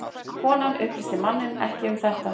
Konan upplýsti manninn ekki um þetta